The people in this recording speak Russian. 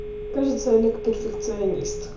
кажется олег перфекционист